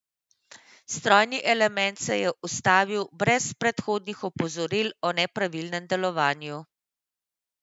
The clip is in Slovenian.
Strojni element se je ustavil brez predhodnih opozoril o nepravilnem delovanju.